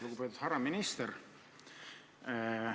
Lugupeetud härra minister!